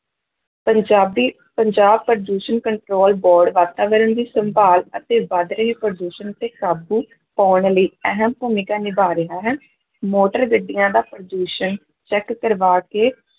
ਪੰਜਾਬੀ ਪੰਜਾਬ ਪ੍ਰਦੂਸ਼ਣ control board ਵਾਤਾਵਰਨ ਦੀ ਸੰਭਾਲ ਅਤੇ ਵੱਧ ਰਹੇ ਪ੍ਰਦੂਸ਼ਣ ਉੱਤੇ ਕਾਬੂ ਪਾਉਣ ਲਈ ਅਹਿਮ ਭੂਮਿਕਾ ਨਿਭਾਅ ਰਿਹਾ ਹੈ ਮੋਟਰ ਗੱਡੀਆਂ ਦਾ ਪ੍ਰਦੂਸ਼ਣ check ਕਰਵਾ ਕੇ